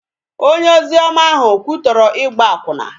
Onye ozioma ahụ kwutọrọ ịgba akwụna